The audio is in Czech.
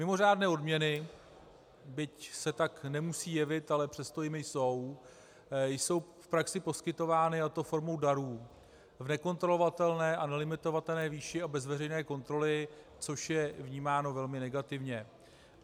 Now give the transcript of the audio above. Mimořádné odměny, byť se tak nemusí jevit, ale přesto jimi jsou, jsou v praxi poskytovány, a to formou darů v nekontrolovatelné a nelimitovatelné výši a bez veřejné kontroly, což je vnímáno velmi negativně.